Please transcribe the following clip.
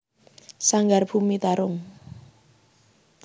Sanggar Bumi Tarung